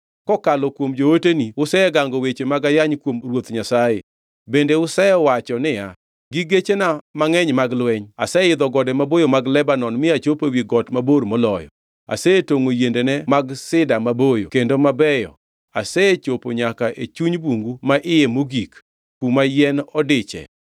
Kokalo kuom jooteni usegango weche mag ayany kuom Ruoth Nyasaye. Bende usewacho niya, “Gi gechena mangʼeny mag lweny aseidho gode maboyo mag Lebanon mi achopo ewi got mabor moloyo. Asetongʼo yiendene mag sida maboyo kendo mabeyo. Asechopo nyaka e chuny bungu ma iye mogik kuma yien odiche.